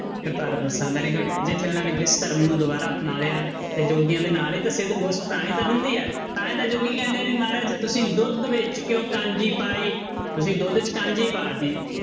Kartarpur Sahib very good ਜਿੱਥੇ ਉਹਨਾਂ ਨੇ ਧਰਮ ਨੂੰ ਦੁਬਾਰਾ ਅਪਣਾ ਲਿਆ ਤੇ ਜੋਗੀਆਂ ਦੇ ਨਾਲ ਹੀ ਤਾਂ ਸਿੱਧ ਗੋਸਟ ਤਾਂ ਹੀ ਤਾਂ ਹੁੰਦੀ ਹੈ ਤਾਂ ਹੀ ਤਾਂ ਜੋਗੀ ਕਹਿੰਦੇ ਆ ਵੀ ਮਹਾਰਾਜ ਤੁਸੀਂ ਦੁੱਧ ਵਿੱਚ ਕਿਉਂ ਕਾਂਜੀ ਪਾਈ ਤੁਸੀਂ ਦੁੱਧ 'ਚ ਕਾਂਜੀ ਪਾ ਦਿੱਤੀ।